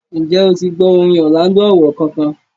ǹjẹ́ o ti gbọ́ orin Orlando Owoh kankan?